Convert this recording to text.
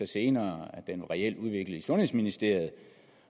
senere at den reelt var udviklet i sundhedsministeriet